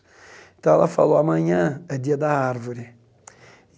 Então, ela falou, amanhã é dia da árvore.